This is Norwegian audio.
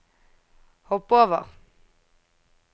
hopp over